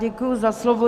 Děkuji za slovo.